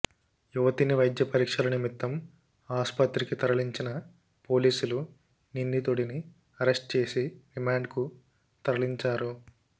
యువతిని వైద్య పరీక్షల నిమిత్తం ఆస్పత్రికి తరలించిన పోలీసులు నిందితుడిని అరెస్ట్ చేసి రిమాండ్కు తరలించారు